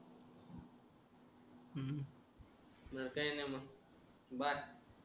ह काय नाय म बाय